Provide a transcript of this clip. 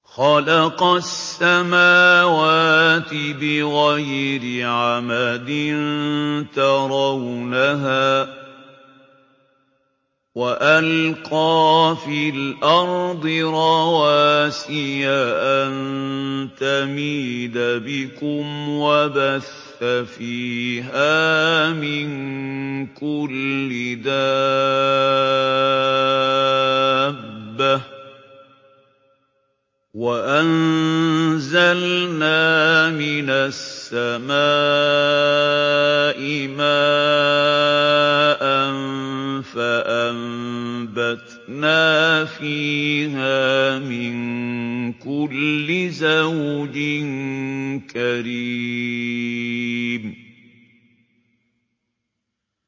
خَلَقَ السَّمَاوَاتِ بِغَيْرِ عَمَدٍ تَرَوْنَهَا ۖ وَأَلْقَىٰ فِي الْأَرْضِ رَوَاسِيَ أَن تَمِيدَ بِكُمْ وَبَثَّ فِيهَا مِن كُلِّ دَابَّةٍ ۚ وَأَنزَلْنَا مِنَ السَّمَاءِ مَاءً فَأَنبَتْنَا فِيهَا مِن كُلِّ زَوْجٍ كَرِيمٍ